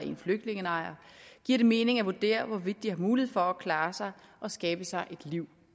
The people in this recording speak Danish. en flygtningelejr giver det mening at vurdere hvorvidt de har mulighed for at klare sig og skabe sig et liv